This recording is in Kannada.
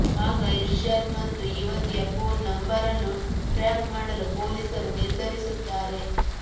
ಆಗ ಇರ್ಷಾದ್ ಮತ್ತು ಯುವತಿಯ ಫೋನ್ ನಂಬರನ್ನು ಟ್ರ್ಯಾಪ್ ಮಾಡಲು ಪೊಲೀಸರು ನಿರ್ಧರಿಸುತ್ತಾರೆ